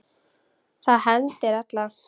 Það hendir alla